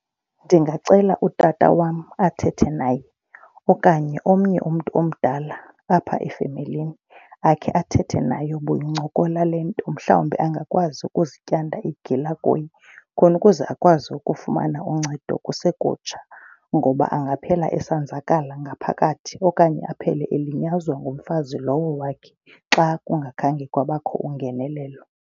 Ndingacela utata wam athethe naye okanye omnye umntu omdala apha efemelini akhe athethe naye buyincokola le nto mhlawumbi angakwazi ukuzityanda igila kuye khona ukuze akwazi ukufumana uncedo kusekutsha, ngoba angaphela esenzakala ngaphakathi. Okanye aphele elinyazwa ngumfazi lowo wakhe xa kungakhange kwabakho ungenelelo.